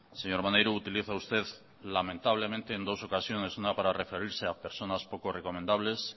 señor maneiro utiliza usted lamentablemente en dos ocasiones una para referirse a personas pocas recomendables